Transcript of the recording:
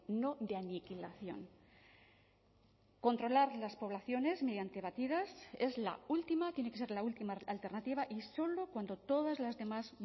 no de aniquilación controlar las poblaciones mediante batidas es la última tiene que ser la última alternativa y solo cuando todas las demás